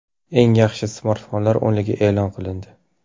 Eng yaxshi smartfonlar o‘nligi e’lon qilindi.